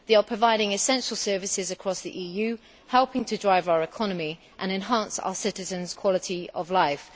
They are providing essential services across the EU, helping to drive our economy and enhancing our citizens' quality of life.